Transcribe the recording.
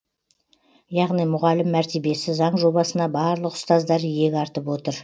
яғни мұғалім мәртебесі заң жобасына барлық ұстаздар иек артып отыр